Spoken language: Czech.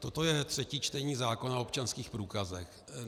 Toto je třetí čtení zákona o občanských průkazech.